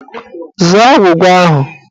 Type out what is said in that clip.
Zaa agwụgwa ahụ!